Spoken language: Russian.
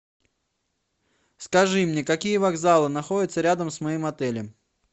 скажи мне какие вокзалы находятся рядом с моим отелем